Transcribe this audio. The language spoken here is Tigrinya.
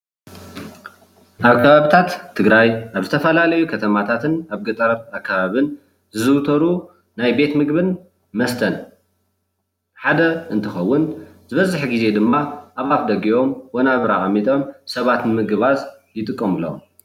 ኣብ ከባቢታት ትግራይ ኣብ ዝተፈላለዩ ከተማታትን ኣብ ገጠራትን ኣከባቢን ዝዝውተሩ ናይ ቤት ምግብን መስተን ሓደ እንትከውን ዝበዝሕ ግዜ ድማ ኣብ ኣፍ ደጊኦም ወናብር ኣቅሚጦም ሰባት ንምግባዝ ይጥቀምሎም፡፡